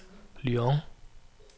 Lyon